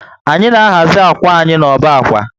Anyị na ahazi akwa anyi na ọbá akwa